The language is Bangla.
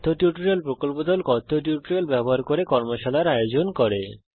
কথ্য টিউটোরিয়াল প্রকল্প দল কথ্য টিউটোরিয়াল ব্যবহার করে কর্মশালার আয়োজন করে